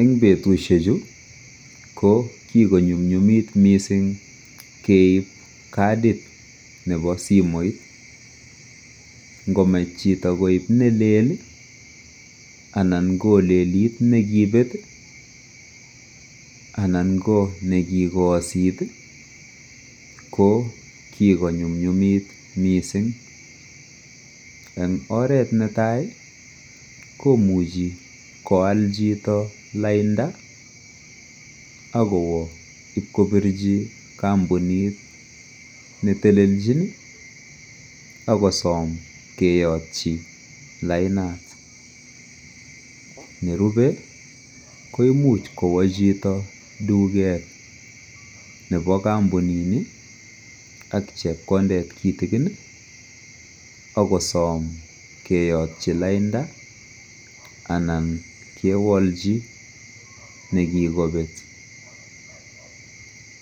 en betushek chu ko kigonyumnyumit mising keib kadiit nebo simoiit ngomach chito koib nelel iih anan kolelit negibeet iih anan ko negigoosit iih ko kigonyumnyumit mising, en oret netaai komuche kowaal chito lainda ak koibkopirchi kombunit netelelchin iih ak kosoom keyotychi lainda, nerube koimuch kowo chito tugeet nebo kompunini ak chepkondeet kitigin ak kosoom keyotyi lainda anan kewolchi negigobeet,